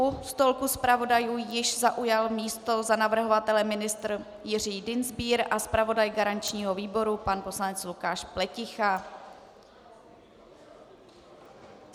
U stolku zpravodajů již zaujal místo za navrhovatele ministr Jiří Dienstbier a zpravodaj garančního výboru pan poslanec Lukáš Pleticha.